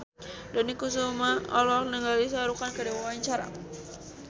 Dony Kesuma olohok ningali Shah Rukh Khan keur diwawancara